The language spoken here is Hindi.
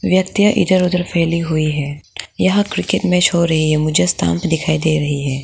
व्यक्तिया इधर उधर फैली हुई है यह क्रिकेट मैच हो रही है मुझे स्टंप दिखाई दे रही है।